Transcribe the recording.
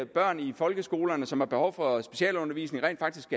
børn i folkeskolerne som har behov for specialundervisning rent faktisk